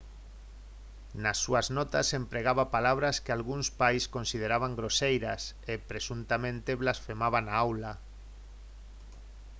nas súas notas empregaba palabras que algúns pais consideraban groseiras e presuntamente blasfemaba na aula